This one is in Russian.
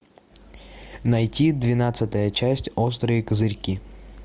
найти двенадцатая часть острые козырьки